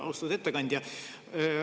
Austatud ettekandja!